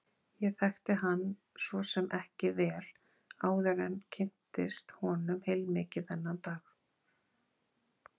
Ég þekkti hann svo sem ekki vel áður en kynntist honum heilmikið þennan dag.